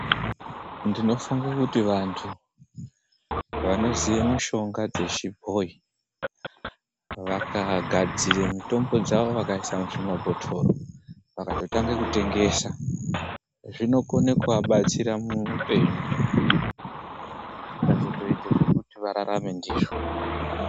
Ndinofunga kuti vantu vanoziva mishonga dzechibhoyi vakagadzira mitombo dzavo vakaisa muzvimabhotoro vakatotanga kutengesa zvinokona kuvabatsira muhupenyu zvikazoita zvekuti vararame ndizvo.